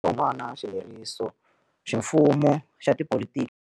Vurhonwana xilerisoximfumo xa tipolitiki.